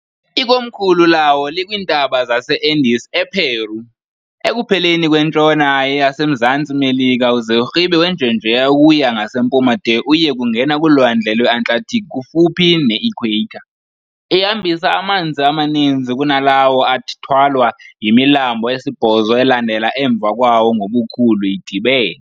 Ikomkhulu lawo likwiintaba zaseAndes ePeru, ekupheleni kwentshona yasemZantsi Melika uze urhibe wenjenjeya ukuya ngasempuma de uyekungena kulwandle lweAtlantic kufuphi ne-equator. Ihambisa amanzi amaninzi kunalawo athwalwa yimilambo esibhozo elandela emva kwawo ngobukhulu idibene.